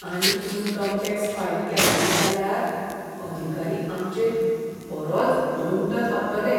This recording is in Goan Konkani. आमी इनकम टॅक्स फायल केलो ना जाल्यार, अधिकारी आमचेर बरोच दंड थापतलें.